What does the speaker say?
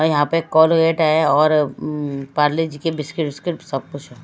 यहां पे कोलगेट है और अं पारले जी के बिस्किट विस्किट सब कुछ है।